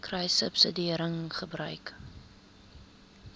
kruissubsidiëringgebruik